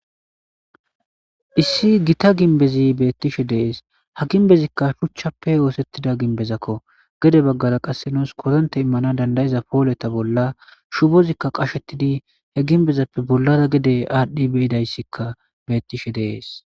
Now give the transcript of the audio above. issi gita ginbezi beettishe dees ha ginbezikka shuchchappe oosettida ginbezakko gede baggara qasse nuus kotonte immana dandayiza pooleta bolla shubozikka qashettidi he ginbezappe bollara gede aadhdhi beyidayssikka beettishe dees